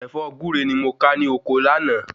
Ẹ̀fọ́ Gure ni mo ka ní ọkọ láàná